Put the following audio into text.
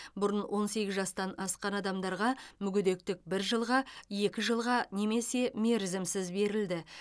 бұрын он сегіз жастан асқан адамдарға мүгедектік бір жылға екі жылға немесе мерзімсіз берілді